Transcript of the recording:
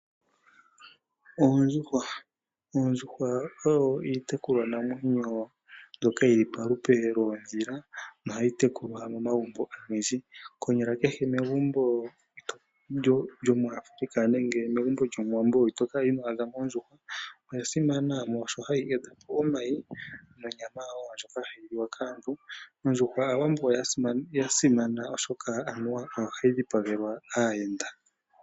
Oondjuhwa odho iitekulwa namwenyo mbyoka yili palupe loodhila nohayi tekulwa momagumbo ogendji, konyala kehe lyomuAfrica nenge lyomuwambo ito kala ino adhamo ondjuhwa. Oya simana molwaashono hayi tende omayi nonyama ndjoka hayi liwa kaantu, ondjuhwa oya simanekwa kaawambo molwashoka oyo hayi dhipagelwa aayenda.